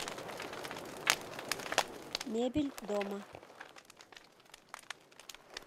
мебель дома